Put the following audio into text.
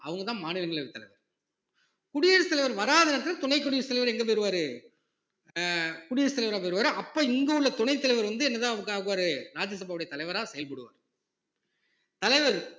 அவங்கதான் மாநிலங்களவைத் தலைவர் குடியரசுத் தலைவர் வராத நேரத்தில் துணை குடியரசுத் தலைவர் எங்க போயிருவாரு ஆஹ் குடியரசு தலைவரா போயிருவாரு அப்ப இங்க உள்ள துணைத் தலைவர் வந்து என்னதான் ராஜ்யசபாவுடைய தலைவரா செயல்படுவாரு தலைவர்